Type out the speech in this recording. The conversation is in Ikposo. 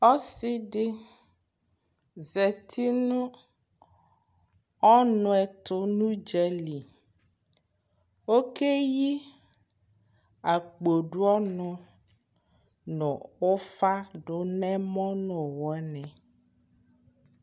Ɔsɩdɩ zztɩ nʊ ɔnʊɛtʊ nʊ ʊdzalɩ okeyi akpodʊ ɔnʊ nʊ ʊfzdʊ nʊ ɛmɔ nʊ ʊwɔ nɩ